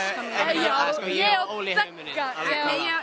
já